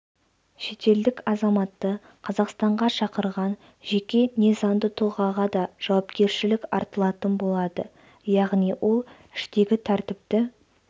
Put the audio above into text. шетелдік азаматты қазақстанға шақырған жеке не заңды тұлғаға да жауапкершілік артылатын болады яғни ол іштегі тәртіпті